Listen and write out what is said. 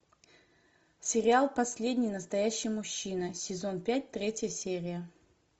сериал последний настоящий мужчина сезон пять третья серия